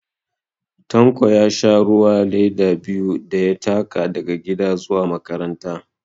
Tanko ya sha ruwa leda biyu da ya taka daga gida zuwa makaranta